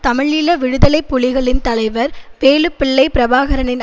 தமிழீழ விடுதலை புலிகளின் தலைவர் வேலுப்பிள்ளை பிரபாகரனின்